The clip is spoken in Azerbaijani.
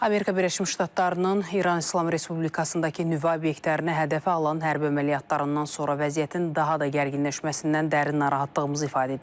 Amerika Birləşmiş Ştatlarının İran İslam Respublikasındakı nüvə obyektlərinə hədəfə alan hərbi əməliyyatlarından sonra vəziyyətin daha da gərginləşməsindən dərin narahatlığımızı ifadə edirik.